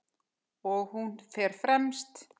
Og hún fer fremst.